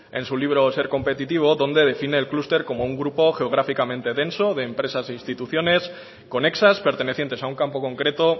en su libro ser competitivo donde define el clúster como un grupo geográficamente denso de empresas e instituciones conexas pertenecientes a un campo concreto